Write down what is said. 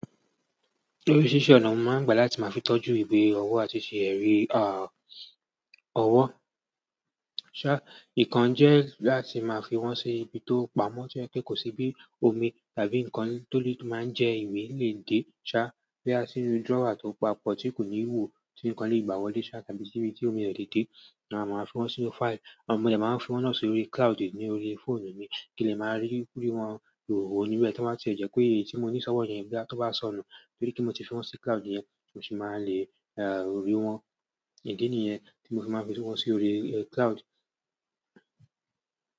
Lórísirísi ọ̀nà ni mo máa ń gbà láti máa fi tọ́jú ìwé ọwọ́ àti ṣe ẹ̀rí, à, ọwọ́. Ṣá, ìkan jẹ́ láti máa fi wọ́n sí ibi tó pamọ́ to jẹ́ pe kò sí bí omi tàbí nǹkan tó lè máa jẹ ìwé lè dé, ṣá. Bí a sì inú drawer tó papọ̀ tí kò ní ìhò tí nǹkan lè gbà wọlé ṣá tàbí tí omi o lè dé, à máa fi wọ́n sínú file. Mo dẹ máa ń fi wọ́n náà sí orí cloud, ní orí fóònù mi kí n lè máa ríwọn wo níbẹ́ tí o ba jẹ́ pé èyí tí mo ní sọ́wọ́ yẹn boya bá tó bá sọnù. Nítorí pé mo ti fi wọ́n sí cloud yẹn, mo sì máa lè, e, rí wọ́n. Idi nìyẹn tí mo fi máa fi sí wọ́n sí orí cloud.